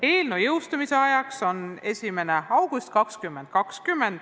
Eelnõu jõustumise ajaks on pakutud 1. august 2020.